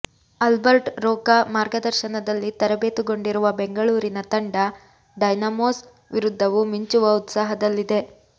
Albert Roca ಮಾರ್ಗದರ್ಶನದಲ್ಲಿ ತರಬೇತುಗೊಂಡಿರುವ ಬೆಂಗಳೂರಿನ ತಂಡ ಡೈನಾಮೊಸ್ ವಿರುದ್ಧವೂ ಮಿಂಚುವ ಉತ್ಸಾಹದಲ್ಲಿದೆ